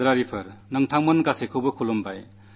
എന്റെ പ്രിയപ്പെട്ട ദേശവാസികളേ നിങ്ങൾക്കേവർക്കും നമസ്കാരം